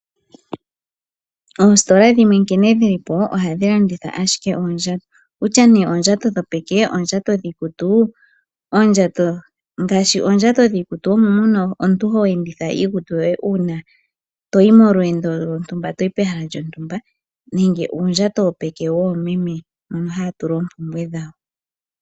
Opsitola dhimwe nkene dhilipo ohadhi landitha ashike oondjato. Kutya nee oondjato dhopeke, oondjato dhiikutu. Ngaashi oondjato dhiikutu omo mono omuntu ho enditha iikutu uuna omuntu toyi molweendo lontumba, toyi pehala lontumba. Nenge uundjato wopeke woomeme mono haya tula oompumbwe dhawo.